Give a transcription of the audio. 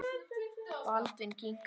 Baldvin kinkaði kolli.